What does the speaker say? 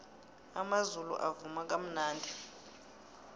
amazulu avuma kamnandi